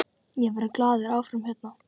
Ég verð glaður áfram hérna.